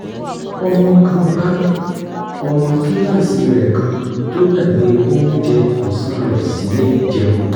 ọmọ kan bá ọmọ kíláàsì rẹ̀ kan tó gbàgbé oúnjẹ ọ̀sán rẹ̀ sílé jẹun